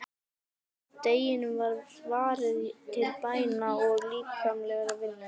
Deginum var varið til bæna og líkamlegrar vinnu.